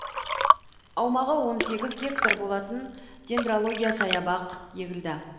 аумағы он сегіз гектар болатын дендрология саябақ егілді